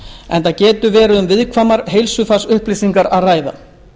enda getur verið um viðkvæmar heilsufarsupplýsingar að ræða